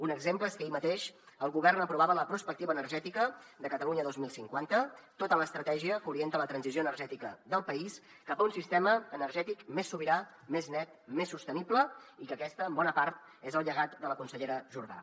un exemple és que ahir mateix el govern aprovava la prospectiva energètica de catalunya dos mil cinquanta tota l’estratègia que orienta la transició energètica del país cap a un sistema energètic més sobirà més net més sostenible i que aquest és en bona part el llegat de la consellera jordà